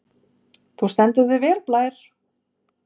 Þú stendur þig vel, Blær!